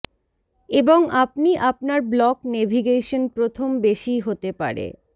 এবং আপনি আপনার ব্লক নেভিগেশন প্রথম বেশী হতে পারে